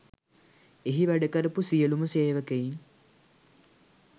එහි වැඩ කරපු සියලුම සේවකයින්